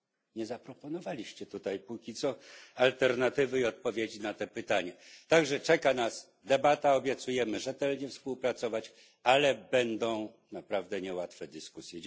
Nie zaproponowali Państwo póki co alternatywy i odpowiedzi na te pytania, tak że czeka nas debata. Obiecujemy rzetelnie współpracować, ale będą to naprawdę niełatwe dyskusje.